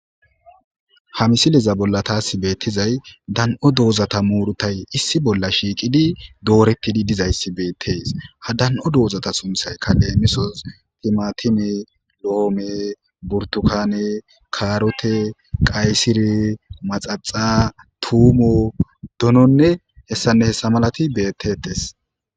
Ha misileza bolla taasi beettizay dan'o doozata muurutay issi bolla shiiqidi doorettidi dizayssi beetteys ha dan'o doozata sunthay ka lemisos timatine lo'oome burtukane kaarote qaysire maxaxa tuumo dononne hessanne hessa malati bettetes